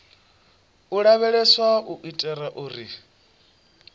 u lavheleswa u itela uri